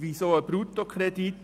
Weshalb ist es ein Bruttokredit?